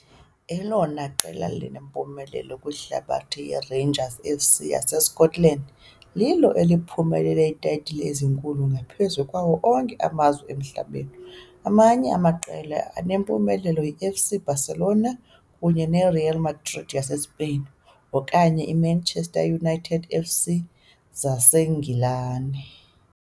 elona qela linempumelelo kwihlabathi yiRangers F.C. yaseScotland, lilo eliphumelele iitayitile ezinkulu ngaphezu kwawo onke amazwe emhlabeni. Amanye amaqela anempumelelo yiFC Barcelona kunye neReal Madrid yaseSpain, okanye eManchester United F.C. zaseNgilani.